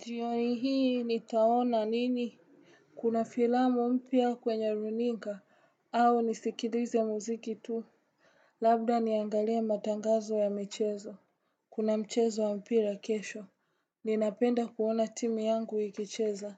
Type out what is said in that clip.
Jioni hii nitaona nini? Kuna filamu mpya kwenye runinga, au nisikilize muziki tu. Labda niangalie matangazo ya mchezo. Kuna mchezo wa mpira kesho. Ninapenda kuona timu yangu ikicheza.